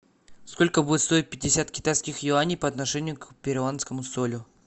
сколько будет стоить пятьдесят китайских юаней по отношению к перуанскому солю